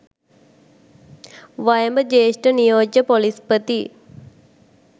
වයඹ ජ්‍යෙෂ්ඨ නියෝජ්‍ය පොලිස්‌පති